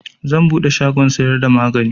Zan buɗe shagon siyar da magani